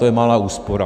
To je malá úspora.